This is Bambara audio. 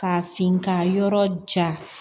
K'a fin ka yɔrɔ ja